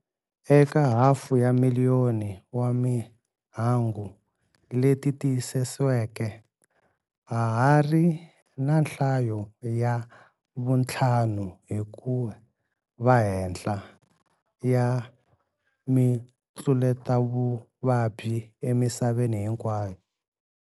Eka hafu ya miliyoni wa timhangu leti tiyisisiweke, ha hari na nhlayo ya vuntlhanu hi kuva henhla ya mitluletavuvabyi emisaveni hinkwayo.